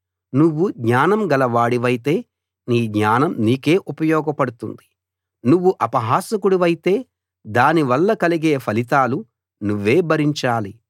నువ్వు జ్ఞానం గలవాడివైతే నీ జ్ఞానం నీకే ఉపయోగపడుతుంది నువ్వు అపహాసకుడివైతే దానివల్ల కలిగే ఫలితాలు నువ్వే భరించాలి